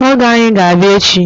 Ọgọ anyị ga-abịa echi